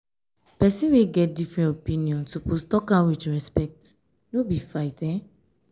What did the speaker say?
pesin wey get different opinion suppose tok am wit respect no be fight.